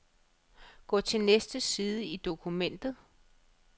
Gå til næste side i dokumentet.